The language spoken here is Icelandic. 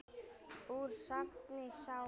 Úr safni SÁA.